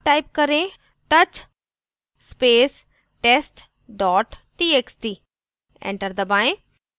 type करें : touch space test dot txt enter दबाएं